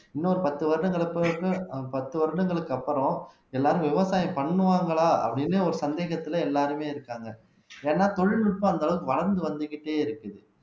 இன்னொரு பத்து வருடங்களுக்கு பத்து வருடங்களுக்கு அப்புறம் எல்லாரும் விவசாயம் பண்ணுவாங்களா அப்படின்னு ஒரு சந்தேகத்திலே எல்லாருமே இருக்காங்க ஏன்னா தொழில்நுட்பம் அந்த அளவுக்கு வளர்ந்து வந்துகிட்டே இருக்குது